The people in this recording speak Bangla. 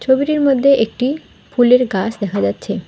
ছবিটির মধ্যে একটি ফুলের গাছ দেখা যাচ্ছে।